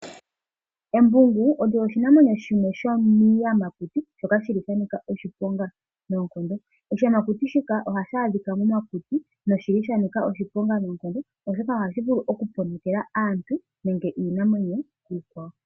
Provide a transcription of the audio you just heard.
Embubgu olyo oshinamwenyo shimwe shomiiyamakuti shoka shili shanika oshiponga noonkondo. Oshiyamakuti shika ohashi adhika momakuti noshili shanika oshiponga noonkondo oshoka oahshi vulu oku polokela aantu nenge iinamwenyo iikwawo.